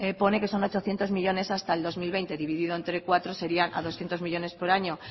pone que son ochocientos millónes hasta el dos mil veinte dividido entre cuatro serían a doscientos millónes por año